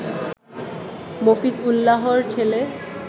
মফিজ উল্লাহর ছেলে